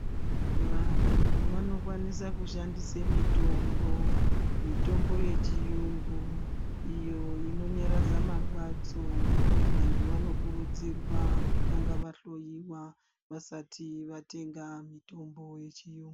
Vantu vanokwanisa kushandise mitombo. Mitombo yechiyungu iyo inonyaradza marwadzo. Vantu vanokurudzirwa kutanga vahloiwa vasati vatenga mitombo yechiyungu.